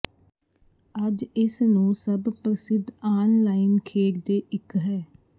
ਅੱਜ ਇਸ ਨੂੰ ਸਭ ਪ੍ਰਸਿੱਧ ਆਨਲਾਈਨ ਖੇਡ ਦੇ ਇੱਕ ਹੈ